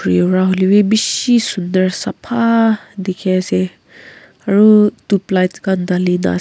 hoi lebi bishi sunder sapha dikhi ase aru tublighst Khan dali ne ase.